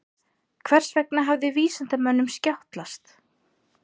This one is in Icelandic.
Hvers vegna hafði vísindamönnunum skjátlast?